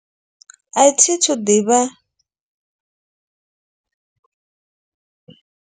A thithu ḓivha.